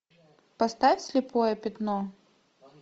поставь слепое пятно